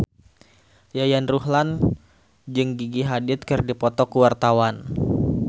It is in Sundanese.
Yayan Ruhlan jeung Gigi Hadid keur dipoto ku wartawan